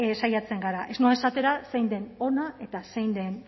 saiatzen gara ez noa esatera zein den ona eta zein den